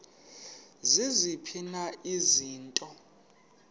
ziziphi na izinto